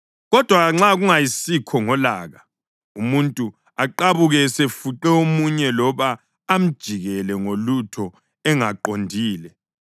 Kodwa nxa kungayisikho ngolaka, umuntu aqabuke esefuqe omunye loba amjikijele ngolutho engaqondile